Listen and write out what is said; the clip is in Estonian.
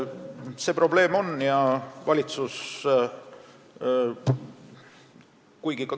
See probleem tõesti on.